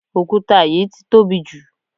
òkúta yìí ti tóbi jù